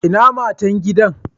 Ina Matan gida?